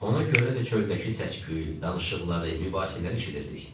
Ona görə də çöldəki səs-küyü, danışıqları, mübahisələri eşidirdik.